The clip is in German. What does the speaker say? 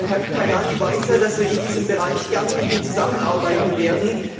Herr Tajani weiß ja, dass wir in diesem Bereich gern mit ihm zusammenarbeiten werden.